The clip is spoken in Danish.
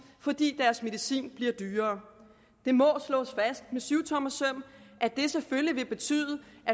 fordi deres medicin bliver dyrere det må slås fast med syvtommersøm at det selvfølgelig vil betyde